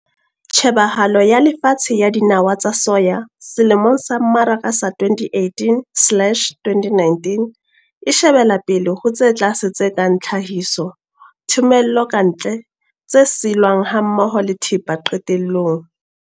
Tjhebahalo ya lefatshe ya dinawa tsa soya selemong sa mmaraka sa 2018-2019 e shebela pele ho tse tlase tse kang tlhahiso, thomello ka ntle, tse silwang hammoho le thepa qetellong.